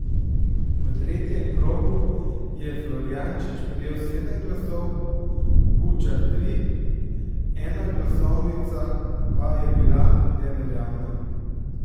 V tretjem krogu je Florjanič prejel sedem glasov, Bučar tri, ena glasovnica pa je bila neveljavna.